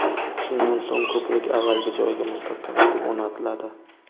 Shundan so‘ng ko‘prik avvalgi joyiga mustahkam etib o‘rnatiladi.